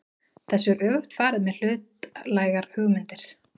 Þessu er öfugt farið með hlutlægar hugmyndir.